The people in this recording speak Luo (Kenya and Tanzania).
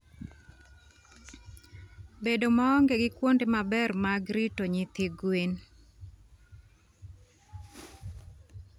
Bedo maonge gi kuonde maber mag rito nyithi gwen.